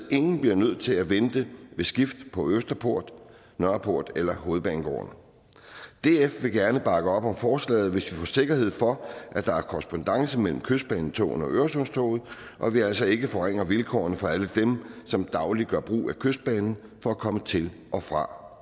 ingen bliver nødt til at vente ved skift på østerport nørreport eller hovedbanegården df vil gerne bakke op om forslaget hvis vi får sikkerhed for at der er korrespondance mellem kystbanetogene og øresundstoget og at vi altså ikke forringer vilkårene for alle dem som dagligt gør brug af kystbanen for at komme til og fra